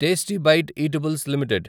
tasty bite eatables limited